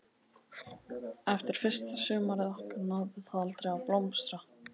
Eftir fyrsta sumarið okkar náði það aldrei að blómstra.